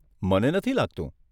મને નથી લાગતું.